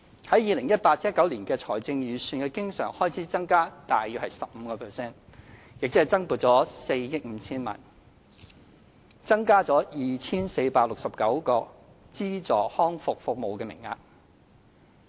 在 2018-2019 年度相關財政預算的經常開支增加約 15%， 即增撥約4億 5,000 萬元，增加 2,469 個資助康復服務名額。